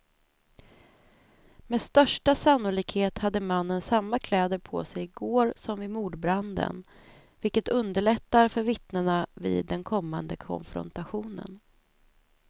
Med största sannolikhet hade mannen samma kläder på sig i går som vid mordbranden, vilket underlättar för vittnena vid den kommande konfrontationen.